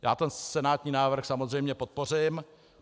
Já ten senátní návrh samozřejmě podpořím.